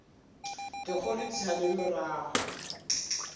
dikgolo di sa le morago